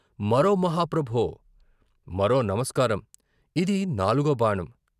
మరో మహాప్రభో! మరో నమస్కారం, ఇది నాలుగో బాణం.